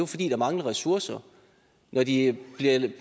fordi der mangler ressourcer når de bliver ved